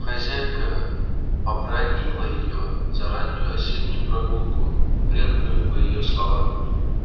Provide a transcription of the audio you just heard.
хозяйка побранила её за раннюю осеннюю прогулку вредную по её словам